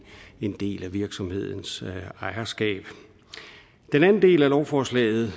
en del af virksomhedens ejerstab den anden del af lovforslaget